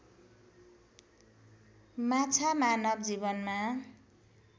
माछा मानव जीवनमा